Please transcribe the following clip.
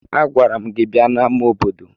Agwara m gi bia n'ama obodo!